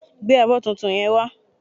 Gbé abọ́ tuntun yen wá